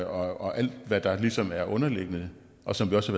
og alt hvad der ligesom er underliggende og som vi også